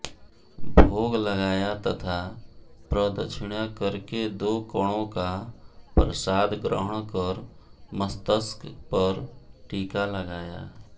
भोग लगाया तथा प्रदक्षिणा करके दो कणों का प्रसाद ग्रहण कर मस्तक पर टीका लगाया